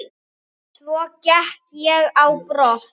Svo gekk ég á brott.